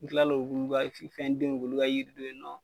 N kila olu ka fɛn den olu ka yiri nɔ.